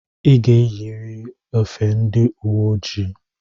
I ga-eyiriri efe ndị uwe ojii!